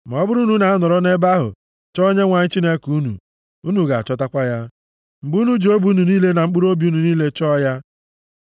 Ma ọ bụrụ na unu anọrọ nʼebe ahụ chọọ Onyenwe anyị Chineke unu, unu ga-achọtakwa ya, mgbe unu ji obi unu niile na mkpụrụobi unu niile chọọ ya.